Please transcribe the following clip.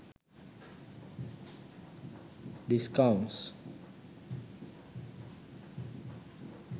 discounts